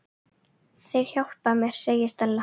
Þeir hjálpa mér, segir Stella.